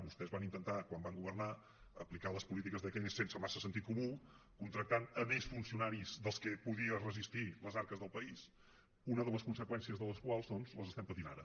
vostès van intentar quan van governar aplicar les polítiques de keynes sense massa sentit comú contractant més funcionaris dels que podien resistir les arques del país una de les conseqüències de les quals doncs l’estem patint ara